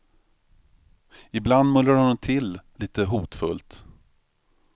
Ibland mullrar hon till lite hotfullt.